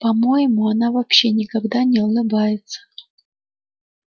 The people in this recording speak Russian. по моему она вообще никогда не улыбается